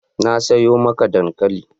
Na sayo maka dankali.